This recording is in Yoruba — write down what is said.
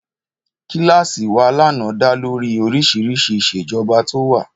Kíláàsì wa lánàá dá lórí oríṣiríṣi ìṣèjọba tó wà